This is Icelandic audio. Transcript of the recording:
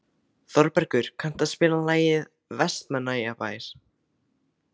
Þorbergur, kanntu að spila lagið „Vestmannaeyjabær“?